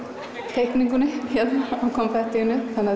teikninguna